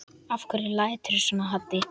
Af hverju læturðu svona Haddi?